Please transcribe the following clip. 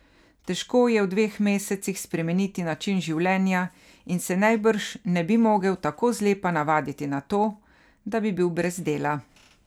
Težko je v dveh mesecih spremeniti način življenja in se najbrž ne bi mogel tako zlepa navaditi na to, da bi bil brez dela.